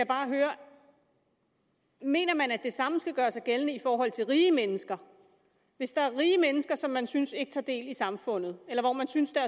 bare høre mener man at det samme skal gøre sig gældende i forhold til rige mennesker hvis der er rige mennesker som man synes ikke tager del i samfundet eller hvor man synes at